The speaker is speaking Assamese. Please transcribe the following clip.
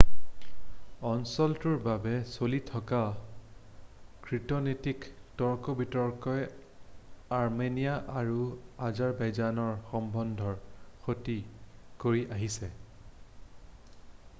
অঞ্চলটোৰ বাবে চলি থকা কূটনৈতিক তৰ্ক-বিতৰ্কই আৰ্মেনিয়া আৰু আজেৰবাইজানৰ সম্বন্ধৰ ক্ষতি কৰি আহিছে